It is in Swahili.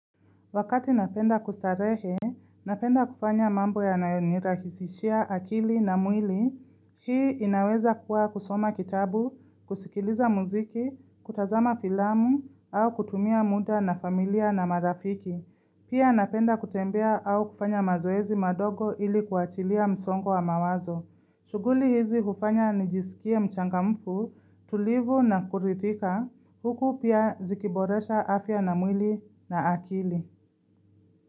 Wakati napenda kustarehe, napenda kufanya mambo yanayo nirahisishia akili na mwili, hii inaweza kuwa kusoma kitabu, kusikiliza muziki, kutazama filamu, au kutumia muda na familia na marafiki. Pia napenda kutembea au kufanya mazoezi madogo ili kuachilia msongo wa mawazo. Shughuli hizi kufanya nijisikie mchangamfu, tulivu na kuridhika, huku pia zikiboresha afya na mwili na akili.